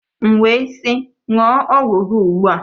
M wee sị ṅụọ ọgwụ gị ugbu a!